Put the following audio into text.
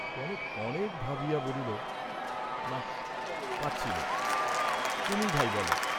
কনক অনেক ভাবিয়া বলিল না পারছি নে, তুমি ভাই বল।